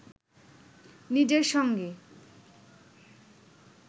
নিজের সঙ্গে